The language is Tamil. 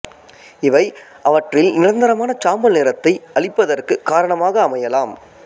இவை அவற்றில் நிரந்தரமான சாம்பல் நிறத்தை அளிப்பதற்கு காரணமாக அமையலாம்